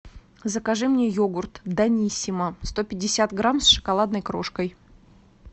закажи мне йогурт даниссимо сто пятьдесят грамм с шоколадной крошкой